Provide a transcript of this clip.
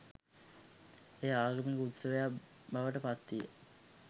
එය ආගමික උත්සවයක් බවට පත් විය.